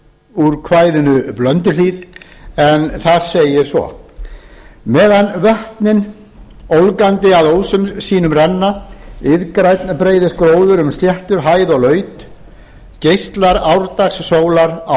úr kvæðinu blönduhlíð meðan vötnin ólgandi að ósum sínum renna iðgrænn breiðist gróður um sléttur hæð og laut geislar árdagssólar á